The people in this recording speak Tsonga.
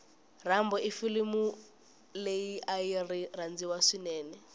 rambo ifulimuleriari rhandziwa swinene